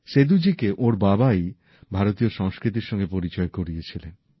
সেদূজিকে ওঁর বাবাই ভারতীয় সংস্কৃতির সঙ্গে পরিচয় করিয়েছিলেন